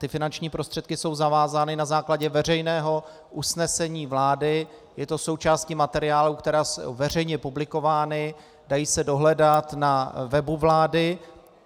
Ty finanční prostředky jsou zavázány na základě veřejného usnesení vlády, je to součástí materiálů, které jsou veřejně publikovány, dají se dohledat na webu vlády.